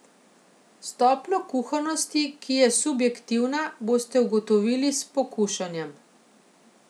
Stopnjo kuhanosti, ki je subjektivna, boste ugotovili s pokušanjem.